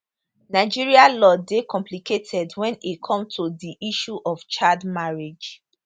nigeria law dey complicated wen e come to di issue of child marriage